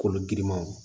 Kolo girimanw